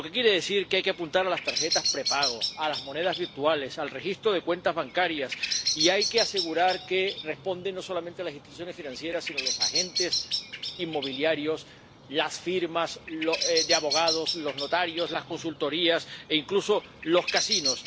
Lo que quiere decir que hay que apuntar a las tarjetas prepago, a las monedas virtuales, al registro de cuentas bancarias, y hay que asegurar que responden no solamente las instituciones financieras sino los agentes inmobiliarios, las firmas de abogados, los notarios, las consultorías, e incluso los casinos.